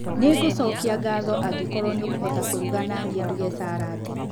Nĩngũcokia ngatho angĩkorwo nĩ ũkũhota kũruga nanie nguge sarandi.